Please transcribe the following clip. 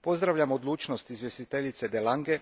Pozdravljam odlučnost izvjestiteljice de Lange